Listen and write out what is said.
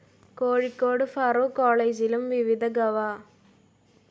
കോഴിക്കോട് ഫാറൂഖ് കോളേജിലും വിവിധ ഗവ.